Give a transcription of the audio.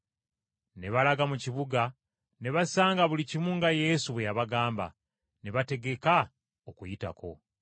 Ne balaga mu kibuga, ne basanga buli kimu nga Yesu bwe yabagamba. Ne bateekateeka Okuyitako.